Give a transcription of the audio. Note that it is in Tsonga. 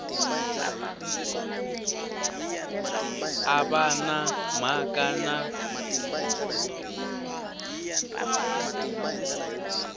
a va na mhaka na